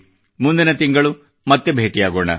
ಮುಂದಿನ ತಿಂಗಳು ಮತ್ತೆ ಭೇಟಿಯಾಗೋಣ